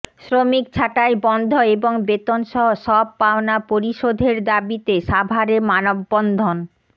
শ্রমিক ছাঁটাই বন্ধ এবং বেতনসহ সব পাওনা পরিশোধের দাবিতে সাভারে মানববন্ধন